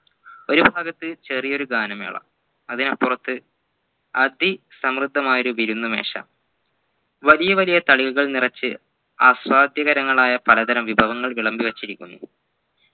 ഒരു ഭാഗത്തു ചെറിയൊരു ഗാനമേള അതിനപ്പുറത് അതിസമൃദമായ ഒരു വിരുന്നു മേശ വലിയ വലിയ തളികകൾ നിറച്ചു അസ്വാധ്യകരങ്ങളായ പലതരം വിഭവങ്ങൾ വിളമ്പി വച്ചിരിക്കുന്നു